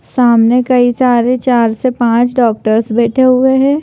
सामने कई सारे चार से पांच डॉक्टर बैठे हुए हैं।